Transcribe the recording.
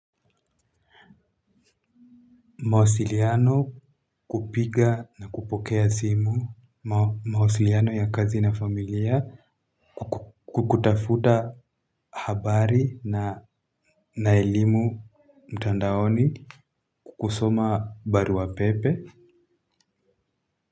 Mawasiliano kupiga na kupokea simu, mawasiliano ya kazi na familia, kukutafuta habari na elimu mtandaoni, kusoma baruapepe.